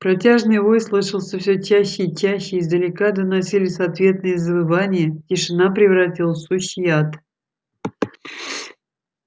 протяжный вой слышался все чаще и чаще издалека доносились ответные завывания тишина превратилась в сущий ад